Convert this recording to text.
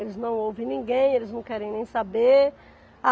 Eles não ouvem ninguém, eles não querem nem saber. A